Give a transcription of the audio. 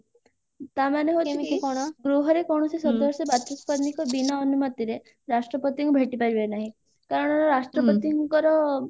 ତାମାନେ ହଉଛି ଗୃହରେ କୌଣସି ସଦସ୍ୟ ବାଚସ୍ପତିଙ୍କ ବିନା ଅନୁମତିରେ ରାଷ୍ଟ୍ରପତିଙ୍କୁ ଭେଟି ପାରିବେ ନାହିଁ କାରଣ ରାଷ୍ଟ୍ରପତିଙ୍କର